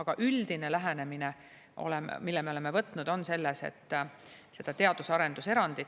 Aga üldine lähenemine on meil selles, et on teadus- ja arendus erand